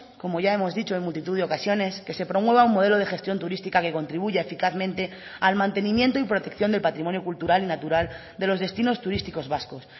como ya hemos dicho en multitud de ocasiones que se promueva un modelo de gestión turística que contribuya eficazmente al mantenimiento y protección del patrimonio cultural y natural de los destinos turísticos vascos